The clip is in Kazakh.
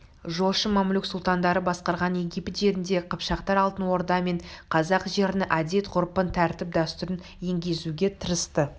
жошын мамлюк сұлтандары басқарған египет жерінде қыпшақтар алтын орда мен қазақ жерінің әдет-ғұрпын тәртіп-дәстүрін енгізуге тырысты